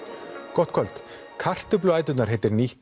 gott kvöld kartöfluæturnar heitir nýtt